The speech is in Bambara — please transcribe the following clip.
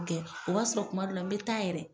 o b'a sɔrɔ kuma dɔ la n bɛ taa yɛrɛ.